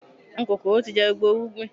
Àwọn kòkòrò tí jẹ gbogbo irúgbìn